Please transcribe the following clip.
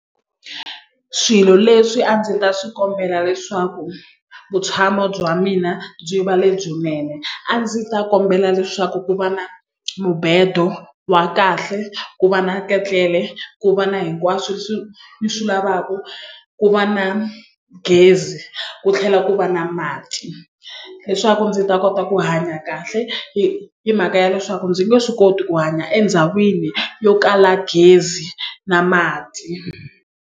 Swilo leswi a ndzi ta swi kombela leswaku vutshamo bya mina byi va lebyinene a ndzi ta kombela leswaku ku va na mubedo wa kahle ku va na ketlele ku va na hinkwaswo ni swi lavaka ku va na gezi ku tlhela ku va na mati leswaku ndzi ta kota ku hanya kahle hi hi mhaka ya leswaku ndzi nge swi koti ku hanya endhawini yo kala gezi na mati.